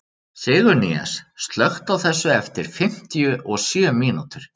Sigurnýas, slökktu á þessu eftir fimmtíu og sjö mínútur.